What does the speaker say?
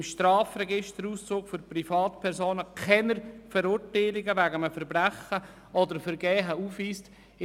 Im Strafregisterauszug für Privatpersonen dürfen keine Verurteilungen wegen eines Verbrechens oder Vergehens eingetragen sein.